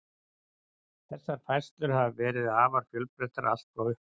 Þessar færslur hafa verið afar fjölbreyttar allt frá upphafi.